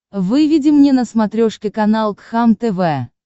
выведи мне на смотрешке канал кхлм тв